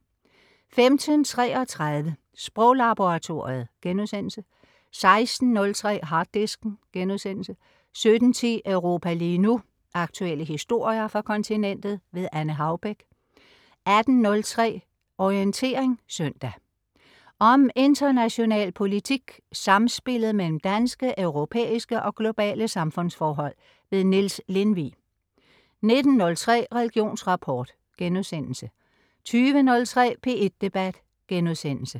15.33 Sproglaboratoriet* 16.03 Harddisken* 17.10 Europa lige nu. Aktuelle historier fra kontinentet. Anne Haubek 18.03 Orientering søndag. Om international politik, samspillet mellem danske, europæiske og globale samfundsforhold. Niels Lindvig 19.03 Religionsrapport* 20.03 P1 Debat*